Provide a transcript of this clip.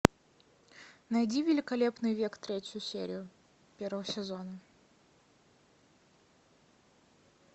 найди великолепный век третью серию первого сезона